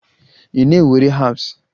Ị na-ewere herbs?